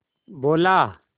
बोला